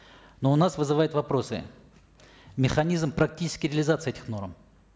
но у нас вызывает вопросы механизм практической реализации этих норм